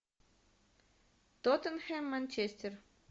тоттенхэм манчестер